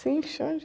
Sim, Xande.